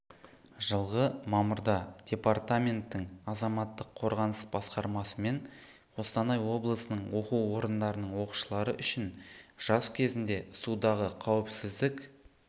жылғы мамырда департаменттің азаматтық қорғаныс басқармасымен қостанай облысының оқу орындарының оқушылары үшін жаз кезінде судағы қауіпсіздік